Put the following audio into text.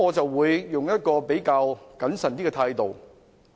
我會採取一種較謹慎的態度。